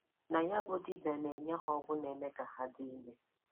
Na ya bụ dibìà na-enye ha ọgwụ na-eme ka ha dị ìmè.